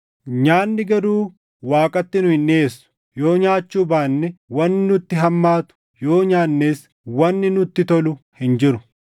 Nyaanni garuu Waaqatti nu hin dhiʼeessu; yoo nyaachuu baanne wanni nutti hammaatu, yoo nyaannes wanni nutti tolu hin jiru.